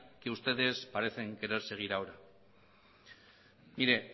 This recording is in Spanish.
que ustedes parecen querer seguir ahora mire